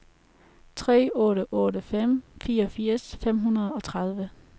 tre otte otte fem fireogfirs fem hundrede og tredive